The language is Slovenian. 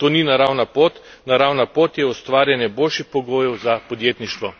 To ni naravna pot, naravna pot je ustvarjanje boljših pogojev za podjetništvo.